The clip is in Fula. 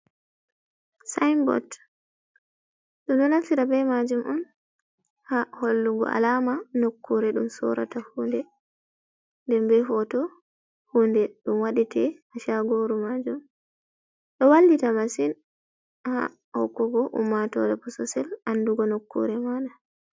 Sinbot. Ɗum ɗo naftira be majum on ha hallugo alama nokkure ɗum sorata hunde, denbe foto hunde dum wadete ha sagoru majum. Ɗo wallita masin ha hokkugo ummatore bososel andugo nokkure mana.